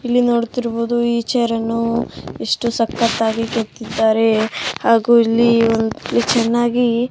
ಇಲ್ಲಿ ನೋಡುತ್ತಿರುವುದು ಈ ಚೇರ್ ಅನ್ನು ಇಷ್ಟು ಸಕ್ಕತ್ತಾಗಿ ಕೆತ್ತಿದ್ದಾರೆ ಆಗು ಇಲ್ಲಿ ಚೆನ್ನಾಗಿ --